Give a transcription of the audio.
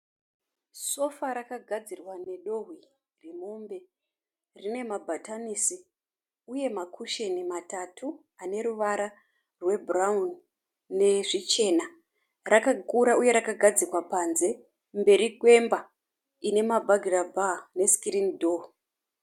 Sofa rakagadzirwa nedehwe remombe. Rine mabhatanisi uye makushini matatu ane ruvara rwebhurawuni nezvichena. Rakakura uye rakagadzikwa panze, mberi kwemba ine mabhagirabha nesikirini dho.